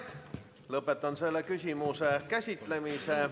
Lõpetan selle küsimuse käsitlemise.